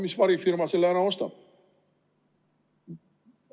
Mis varifirma selle ära ostab?